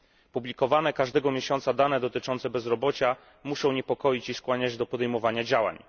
Publikowane każdego miesiąca dane dotyczące bezrobocia muszą niepokoić i skłaniać do podjęcia działań.